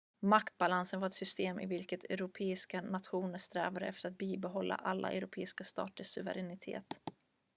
maktbalansen var ett system i vilket europeiska nationer strävade efter att bibehålla alla europeiska staters suveränitet